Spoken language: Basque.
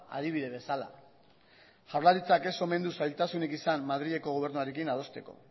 adibide bezala jaurlaritzak ez omen du zailtasunik izan madrileko gobernuarekin adosteko